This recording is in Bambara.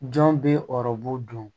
Jɔn bɛ ɔrɔbu don